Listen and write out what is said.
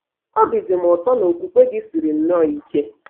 Obi dị m ụtọ na okwukwe gị siri nnọọ ike! ’